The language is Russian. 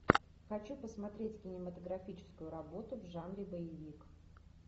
хочу посмотреть кинематографическую работу в жанре боевик